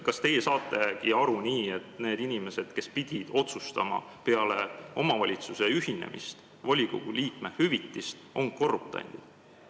Kas teie saategi nii aru, et need inimesed, kes pidid peale omavalitsuste ühinemist otsustama volikogu liikme hüvitise üle, on korruptandid?